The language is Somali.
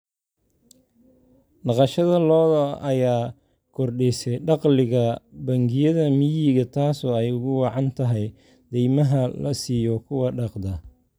Dhaqashada lo'da lo'da ayaa kordhisay dakhliga bangiyada miyiga taasoo ay ugu wacan tahay deymaha la siiyo kuwa dhaqda.